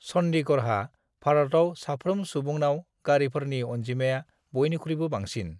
चन्डीगढ़हा भारताव साफ्रोम सुबुंनाव गारिफोरनि अनजिमाया बयनिख्रुयबो बांसिन।